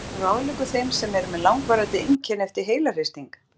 Er eitthvað sem þú ráðleggur þeim sem eru með langvarandi einkenni eftir heilahristing?